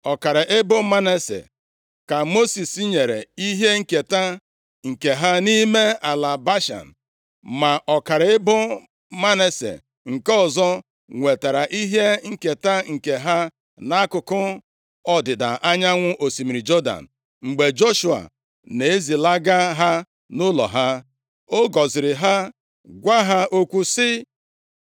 Ọkara ebo Manase ka Mosis nyere ihe nketa nke ha nʼime ala Bashan, ma ọkara ebo Manase nke ọzọ nwetara ihe nketa nke ha nʼakụkụ ọdịda anyanwụ osimiri Jọdan. Mgbe Joshua na-ezilaga ha nʼụlọ ha, ọ gọziri ha, gwa ha okwu sị,